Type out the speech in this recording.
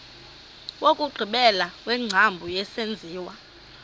wokugqibela wengcambu yesenziwa